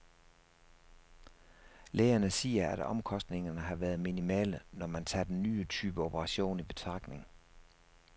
Lægerne siger, at omkostningerne har været minimale, når man tager denne nye type operation i betragtning.